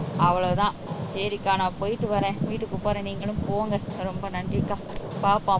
அவ்வளவுதான் செரிக்கா நான் போயிட்டு வரேன் வீட்டுக்கு போறேன் நீங்களும் போங்க ரொம்ப நன்றி பாப்போம் சரியா